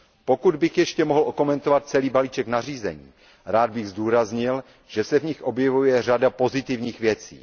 Pokud bych ještě mohl okomentovat celý balíček nařízení, rád bych zdůraznil, že se v nich objevuje řada pozitivních věcí.